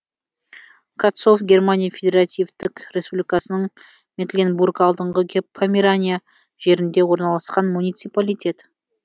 катцов германия федеративтік республикасының мекленбург алдыңғы померания жерінде орналасқан муниципалитет